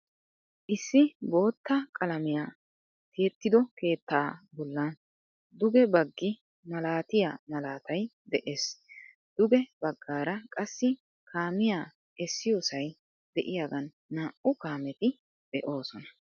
Issi bootta qalamiya tiyettido keettaa bollan duge baggi malaatiyaa malaatay de'ees. Duge baggaara qassi kaamiyaa essiyoosay de"iyaagan naa"u kaameti de'oosona.